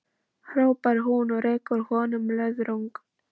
hrópar hún og rekur honum löðrung.